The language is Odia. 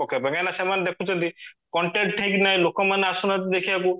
ପକେଇବା ପାଇଁ କାଇଁକି ନା ସେମାନେ ଦେଖୁଚନ୍ତି content ହେଇକି ନା ଲୋକ ମାନେ ଆସୁନାହାନ୍ତି ଦେଖିବାକୁ